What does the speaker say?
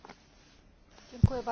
Panie Przewodniczący!